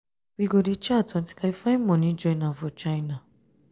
we go dey chat untill i find money join am for china.